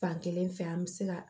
Fankelen fɛ an bɛ se ka